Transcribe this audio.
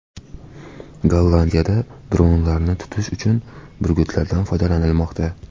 Gollandiyada dronlarni tutish uchun burgutlardan foydalanilmoqda .